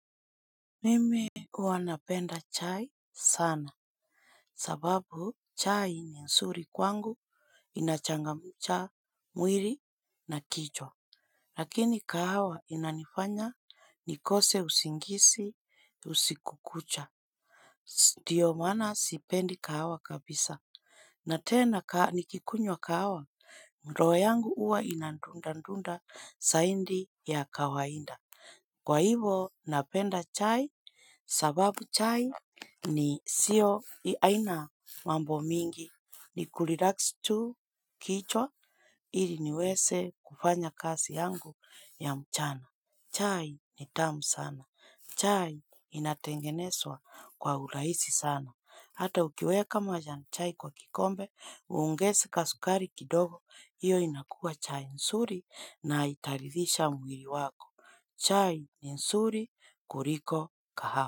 Mimi huwa napenda chai sana. Sababu chai ni nzuri kwangu inachangamcha mwili na kichwa. Lakini kahawa inanifanya nikose usingizi usiku kucha. Ndio maana sipendi kahawa kabisa. Na tena nikikunywa kahawa roho yangu huwa inadundadunda zaidi ya kawaida. Kwa hivo napenda chai. Sababu chai ni sio aina mambo mingi ni kurelax tu kichwa ili niweze kufanya kazi yangu ya mchana. Chai ni tamu sana. Chai inatengenezwa kwa urahisi sana. Hata ukiweka majani chai kwa kikombe, uongeze kasukari kidogo, iyo inakua chai nzuri na itaridhisha mwili wako. Chai ni nzuri kuliko kahawa.